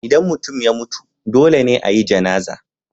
Idan mutum ya mutu, dole ne a yi Janazah.